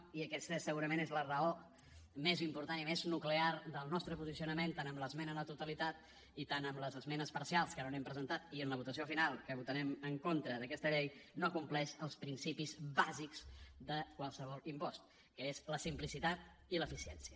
i aquesta és segurament la raó més important i més nuclear del nostre posicionament tant en l’esmena a la totalitat i tant en les esmenes parcials que no n’hem presentat i en la votació final que votarem en contra d’aquesta llei no compleix els principis bàsics de qualsevol impost que és la simplicitat i l’eficiència